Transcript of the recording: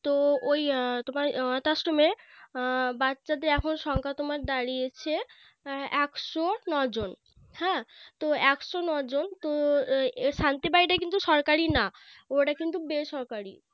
তো ওই তোমার অনাথ আশ্রমে বাচ্চাদের এখন সংখ্যা তোমার দাঁড়িয়েছে একশো নয় জন হ্যাঁ তো একশো নয় জন তো শান্তি বাড়িটা কিন্তু সরকারি না ওটা কিন্তু বেসরকারি